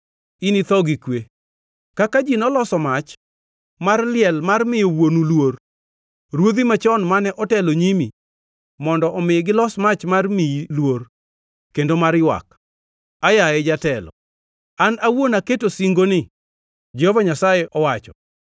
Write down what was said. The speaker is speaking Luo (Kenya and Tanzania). initho gi kwe. Kaka ji noloso mach mar liel mar miyo wuonu luor; ruodhi machon mane otelo nyimi, mondo omi gilos mach mar miyi luor kendo mar ywak, “Aa, yaye jatelo!” An awuon aketo singoni, Jehova Nyasaye owacho.’ ”